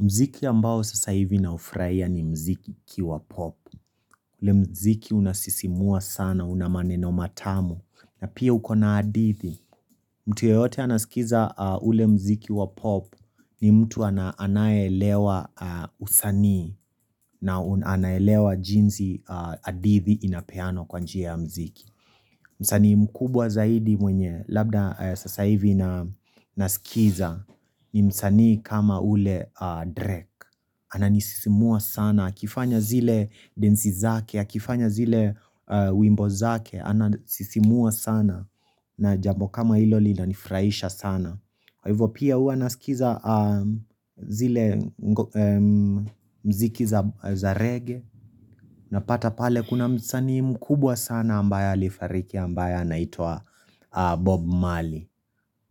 Mziki ambao sasa hivi naufurahia, ni mziki wa pop. Ule mziki unasisimua sana, unamaneno matamu. Na pia uko na hadithi. Mtu yeyote anasikiza ule mziki wa pop, ni mtu anayelewa usanii na anaelewa jinsi hadithi inapeanwa, kwa njia ya mziki. Msanii mkubwa zaidi mwenye labda sasa hivi na nasikiza ni msanii kama ule Drake. Ananisisimua sana. Akifanya zile densi zake, akifanya zile wimbo zake, ananisisimua sana. Na jambo kama hilo linanifurahisha sana. Kwa hivo pia, huwa nasikiza zile mziki za rege, napata pale, kuna msanii mkubwa sana ambaye alifariki ambaye anaitwa Bob Marley.